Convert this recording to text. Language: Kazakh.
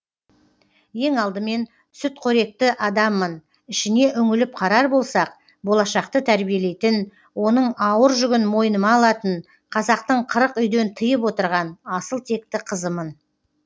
ең алдымен сүтқоректі адаммын ішіне үңіліп қарар болсақ болашақты тәрбиелейтін оның ауыр жүгін мойныма алатын қазақтың қырық үйден тыйып отырған асыл текті қызымын